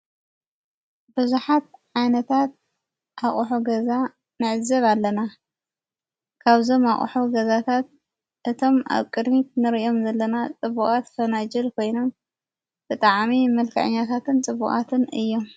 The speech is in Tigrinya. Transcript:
ብዙኃት ዓይነታት ኣቝሖ ገዛ ንዕዘብ ኣለና ካብዞም ኣቕሑ ገዛታት እቶም ኣብ ቅድሚት ንርኦም ዘለና ጥቡቓት ፈነጅል ኮይኖም ብጠዓሚ መልከዕኛታትን ጽቡቓትን እዮም።